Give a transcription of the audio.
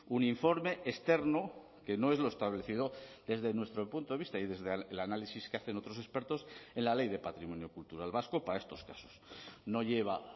un informe externo que no es lo establecido desde nuestro punto de vista y desde el análisis que hacen otros expertos en la ley de patrimonio cultural vasco para estos casos no lleva